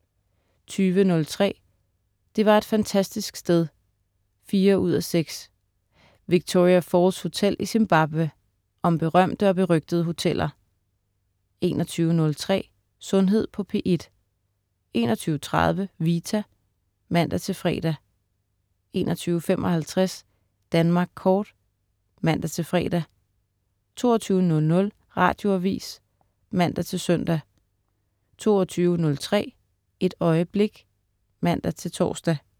20.03 Det var et fantastisk sted 4:6. Victoria Falls Hotel i Zimbabwe. Om berømte og berygtede hoteller 21.03 Sundhed på P1* 21.30 Vita* (man-fre) 21.55 Danmark kort* (man-fre) 22.00 Radioavis (man-søn) 22.03 Et øjeblik* (man-tors)